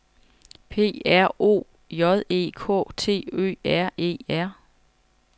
P R O J E K T Ø R E R